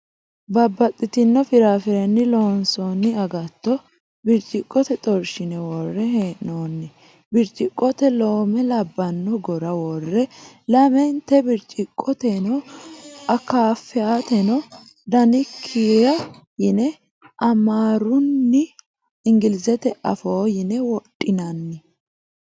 Babbaxino firaarrirenni loonsoonni agatto birciqote xorshine worre hee'noonni. Birciqote loome labbano gora worre lamente birciqoteno akaafeyateno dankira yine amaarunna ingilizete afoo yine wodhinanni.